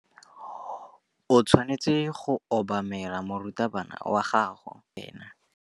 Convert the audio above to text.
O tshwanetse go obamela morutabana wa gago fa a bua le wena.